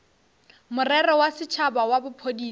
morero wa setšhaba wa bophodisa